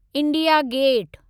India gate